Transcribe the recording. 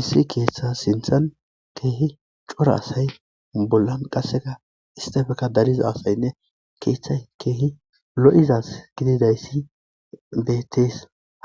Issi keeththa sinthan keehi cora asay bollan qasseka istefeka dariza afaynne keeththay keehi lo'izas gididayssi deettees